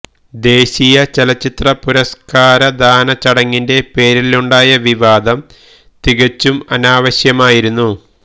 ദേശീയ ചലച്ചിത്ര പുരസ്കാരദാന ചടങ്ങിന്റെ പേരിലുണ്ടായ വിവാദം തികച്ചും അനാവശ്യമായിരുന്നു